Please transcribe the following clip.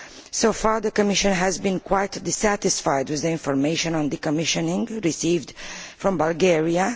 So far, the Commission has been quite dissatisfied with the information on decommissioning received from Bulgaria.